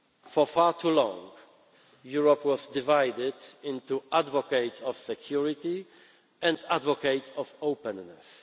in the future. For far too long Europe was divided into advocates of security and advocates